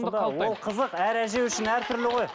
ол қызық әр әже үшін әртүрлі ғой